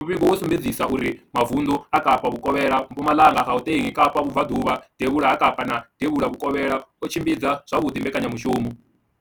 Muvhigo wo sumbedzisa uri mavundu a Kapa Vhukovhela, Mpumalanga, Gauteng, Kapa Vhubva ḓuvha, Devhula ha Kapa na Devhula Vhukovhela o tshimbidza zwavhuḓi mbekanya mushumo.